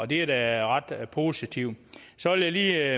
det er da ret positivt så vil jeg lige